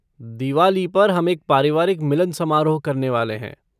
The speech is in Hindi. दिवाली पर हम एक पारिवारिक मिलन समारोह करने वाले हैं।